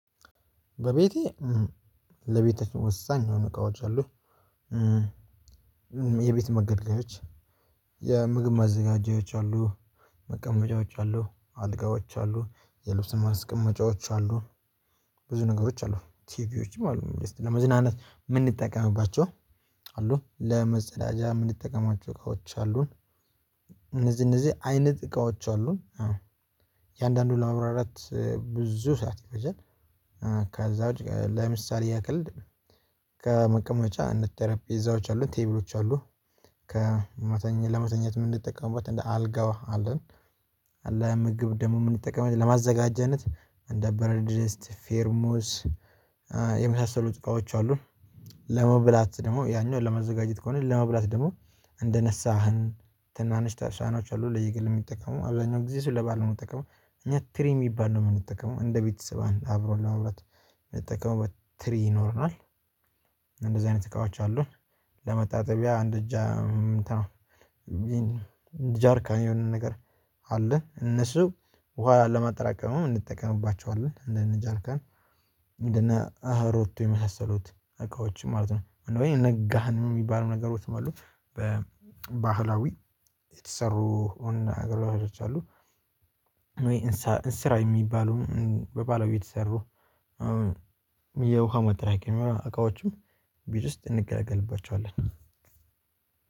በቤቴ ለቤተ ወሳኝ የሆነ እቃዎች አሉኝ የቤት መገልገያዎች። የምግብ ማዘጋጀዎች አሉ መቀመጫዎች አሉ አልጋዎች አሉ የልብስ ማስቀመጫዎች አሉ ብዙ ነገሮች አሉ ቲቪዎችም አሉ ለመዝናናት የምንጠቀምባቸው አሉ ለመጸዳጃ የምንጠቀማቸው እቃዎች አሉን። እነዚህ እነዚህ አይነት እቃዎች አሉን አዎ። የአንዳንዱ ለማብራራት ብዙ ሰዓት ይፈጃል። ከዛ ውጪ ለምሳሌ ያክል ከመቀመጫ እንደ ጤረጵዛዎች አሉ ቴብሎች አሉ። ለመተኛት የምንጠቀመው አልጋው አለን። አለ ምግብ ደግሞ የምንጠቀመው ለማዘጋጀነት እንደ ብረትዲስት ፌርሞስ የመሳሰሉ እቃዎች አሉ። ለመብላት ደግሞ ያኛው ለማዘጋጀት ከሆነ ለመብላት ደግሞ እንደነሳህን ትናንሽ ሳሀኖች አሉ ለየግል የሚጠቀሙ አብዛኛው ጊዜ እሱን ለበአል የሚጠቀሙ እኛ ትሪ የሚባል ነው የምንጠቀመው እንደ ቤተሰብ አብሮ ለመብላት የሚጠቀም ትሪ ይኖረናል። እንደዚህ አይነት እቃዎች አሉን። ለመታጠቢያ አንድ ብቻ እንትን ነው ጀርካን የሆነ ነገር አለ እነሱን ውሃ ለማጠራቀምያ እንጠቀምባቸዋለን እንደኔ ጀርካን እንደነ ኦሮቶ የመሳሰሉት እቃዎችን ማለት ነው። ጋን የሚባሉ ነገሮችም አሉ በባህላዊ የተሰሩ ነገሮች አሉ። እንስራ የሚባሉ በባህላዊ የተሰሩ የውሃ ማጠራቀሚያ እቃዎችን ቤት ውስጥ እንገለገልባቸኋለን።